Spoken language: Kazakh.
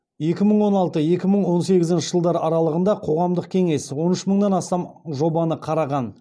екі мың он алты екі мың он сегізінші жылдар аралығында қоғамдық кеңес он үш мыңнан астам жобаны қараған